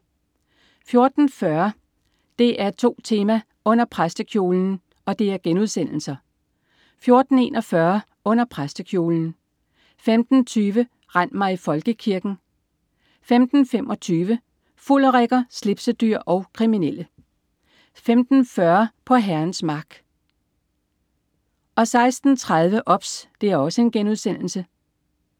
14.40 DR2 Tema: Under præstekjolen* 14.41 Under præstekjolen* 15.20 Rend mig i Folkekirken!* 15.25 Fulderikker, slipsedyr og kriminelle* 15.40 På Herrens mark* 16.30 OBS*